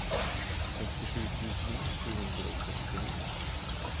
førtisju tusen sju hundre og sekstini